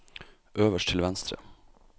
øverst til venstre